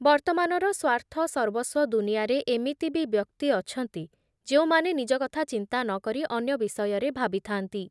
ବର୍ତ୍ତମାନର ସ୍ଵାର୍ଥସର୍ବସ୍ଵ ଦୁନିଆରେ ଏମିତି ବି ବ୍ୟକ୍ତି ଅଛନ୍ତି, ଯେଉଁମାନେ ନିଜ କଥା ଚିନ୍ତା ନ କରି ଅନ୍ୟ ବିଷୟରେ ଭାବିଥାନ୍ତି ।